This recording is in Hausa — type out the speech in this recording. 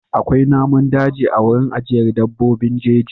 Akwai namun daji a wurin ajiyar dabbobin jeji.